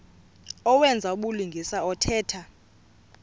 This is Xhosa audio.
owenza ubulungisa othetha